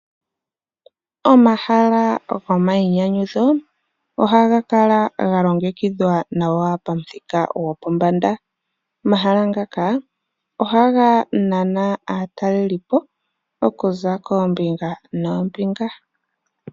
Omahala gomayi nyanyudho ohaga kala ga longekithwa nawa pamuthika gopombanda. Omahala ngaka ohaga nana aatalelipo okuza koombinga noombinga.